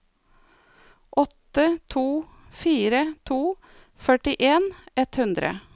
åtte to fire to førtien ett hundre